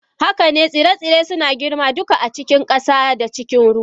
Haka ne, tsire-tsire suna girma duka a cikin ƙasa da cikin ruwa.